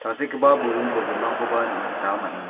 tangsekgipa burung bolgrimrangkoba nikna gita man·enga--